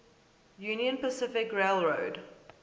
union pacific railroad